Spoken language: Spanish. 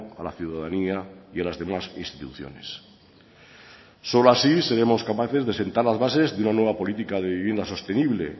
a la ciudadanía y a las demás instituciones solo así seremos capaces de sentar las bases de una nueva política de vivienda sostenible